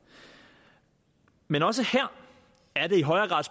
men også her er det i højere grad